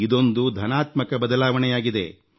ಇದೊಂದು ಧನಾತ್ಮಕ ಬದಲಾವಣೆಯಾಗಿದೆ